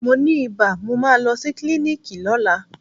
Mo ni ibà, mo máa lọ sí klíníkì lọ́la.